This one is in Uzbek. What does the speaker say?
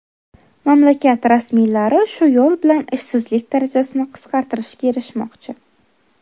Mamlakat rasmiylari shu yo‘l bilan ishsizlik darajasini qisqartirishga erishmoqchi.